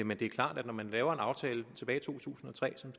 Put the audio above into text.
men det er klart at når man lavede en aftale tilbage i to tusind og tre som